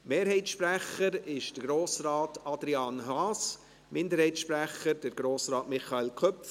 Der Mehrheitssprecher ist Grossrat Adrian Haas, der Minderheitssprecher Grossrat Michael Köpfli.